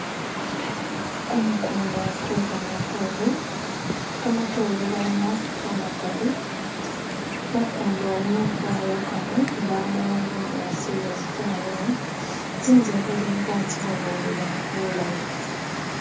kumukunda kwekamatore ,kamatore kalimo kamakali mukundamo bayakamo mbamo bunyasi bwosi tawe tsinzehele batsilolela bulayi